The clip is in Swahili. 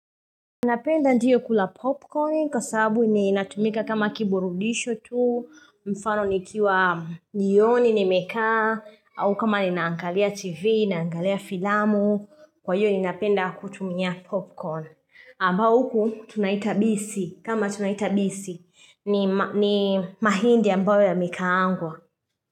Ninapenda ndiyo kula popcorn kwa sababu ninatumika kama kiburudisho tu, mfano nikiwa jioni nimekaa, au kama ninangalia tv, ninangalia filamu, kwa hivyo ninapenda kutumia popcorn. Ambao huku tunaita bisi, kama tunaita bisi, ni mahindi ambayo yamekaangwa.